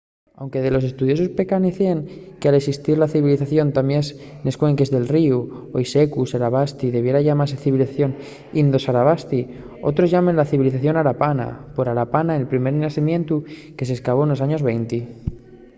anque dellos estudiosos pescancien que al esistir la civilización tamién nes cuenques del ríu hoi secu sarasvati debiera llamase civilización indo-sarasvati. otros llámenla civilización harapana por harappa el primer xacimientu que s’escavó nos años venti